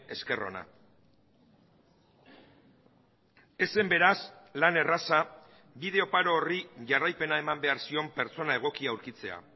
esker ona ez zen beraz lan erraza bide oparo horri jarraipena eman behar zion pertsona egokia aurkitzea